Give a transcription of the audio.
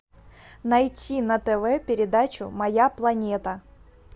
найти на тв передачу моя планета